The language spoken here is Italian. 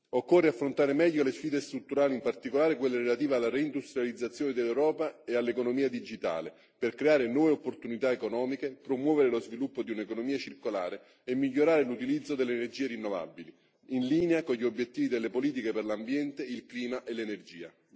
Occorre affrontare meglio le sfide strutturali, in particolare quelle relative alla reindustrializzazione dell'Europa e all'economia digitale, per creare nuove opportunità economiche, promuovere lo sviluppo di un'economia circolare e migliorare l'utilizzo delle energie rinnovabili, in linea con gli obiettivi delle politiche per l'ambiente, il clima e l'energia.